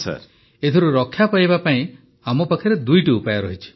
ପ୍ରଧାନମନ୍ତ୍ରୀ ଏଥିରୁ ରକ୍ଷା ପାଇବା ପାଇଁ ଆମ ପାଖରେ ଦୁଇଟି ଉପାୟ ରହିଛି